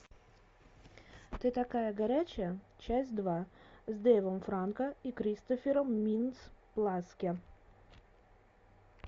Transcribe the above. ты такая горячая часть два с дейвом франко и кристофером минц плассе